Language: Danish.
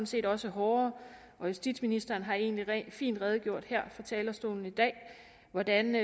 set også hårdere og justitsministeren har egentlig fint redegjort for her fra talerstolen i dag hvordan